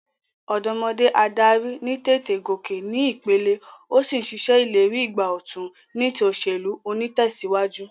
Òdómodé adarí ní tètè gòkè ní ìpele, o sí n se ìlérí ìgbà òtun ní ti òsèlú onítèsíwájú